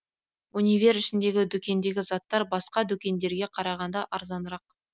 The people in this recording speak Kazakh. универ ішіндегі дүкендегі заттар басқа дүкендерге қарағанда арзанырақ